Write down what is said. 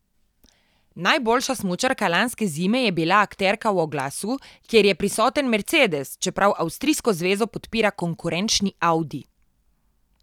Najboljša smučarka lanske zime je bila akterka v oglasu, kjer je prisoten Mercedes, čeprav avstrijsko zvezo podpira konkurenčni Audi.